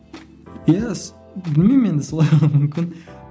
иә білмеймін енді солай мүмкін